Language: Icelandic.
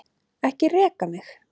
Ekki reka mig.